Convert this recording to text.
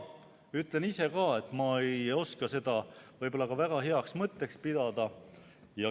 Ütlen ise ka, et ma ei oska seda võib-olla väga heaks mõtteks pidada.